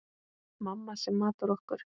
Mamma sem matar okkur.